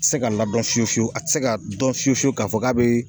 Se ka ladɔn fiye fiyew a ti se ka dɔn fiye fiyewu k'a fɔ k'a bee